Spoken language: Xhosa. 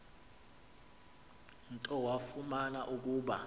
nto wafumana ukuba